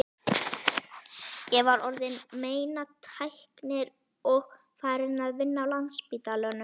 Ég var orðin meinatæknir og farin að vinna á Landspítalanum.